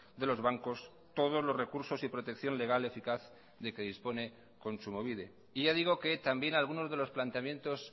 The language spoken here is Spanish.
de los bancos todos los recursos y protección legal eficaz de que dispone kontsumobide y ya digo que también algunos de los planteamientos